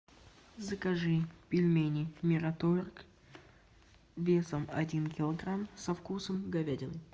закажи пельмени мираторг весом один килограмм со вкусом говядины